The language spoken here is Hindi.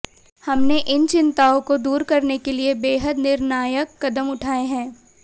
हमने इन चिंताओं को दूर करने के लिए बेहद निर्णायक कदम उठाए हैं